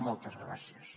moltes gràcies